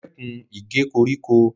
Stop cutting the grass